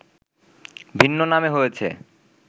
ভিন্ন নামে হয়েছে